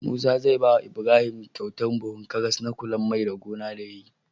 Musa zai bawa Ibrahim kyautar buhun karas na kular mai da gona da yayi